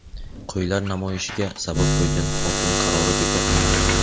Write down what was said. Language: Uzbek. "Qo‘ylar namoyishi"ga sabab bo‘lgan hokim qarori bekor qilindi.